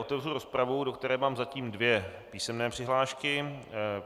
Otevřu rozpravu, do které mám zatím dvě písemné přihlášky.